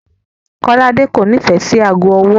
Kọ́ládé kò nífẹ̀ẹ́ sí aago ọwọ́.